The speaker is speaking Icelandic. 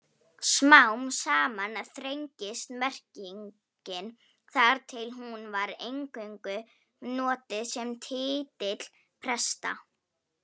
Smám saman þrengist merkingin þar til hún var eingöngu notuð sem titill presta.